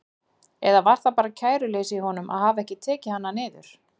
Eða var það bara kæruleysi í honum að hafa ekki tekið hana niður?